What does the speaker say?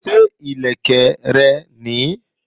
Ṣé ìlẹ̀kẹ̀ rẹ nìí?